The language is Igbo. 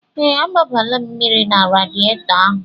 Ee, agbanyela m mmiri na radietọ ahụ.